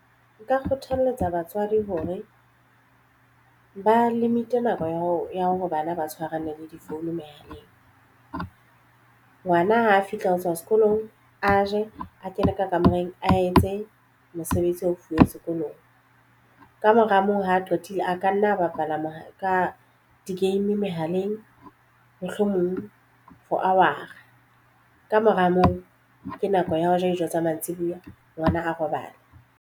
Nka kgothaletsa batswadi hore ba limit-e nako ya hore bana ba tshwarane difounung mehaleng. Ngwana ha a fihla ho tswa sekolong a je a kene ka kamoreng a etse mosebetsi a fuweng sekolong ka mora moo ha qetile a ka nna a bapala mohala ka di-game mehaleng mohlomong for hour a ka mora moo ke nako ya ho ja dijo tsa mantsibuya ngwana a robale.